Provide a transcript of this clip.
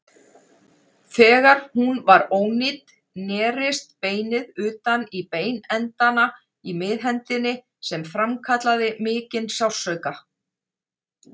Þegar hún var ónýt nerist beinið utan í beinendana í miðhendinni sem framkallaði mikinn sársauka.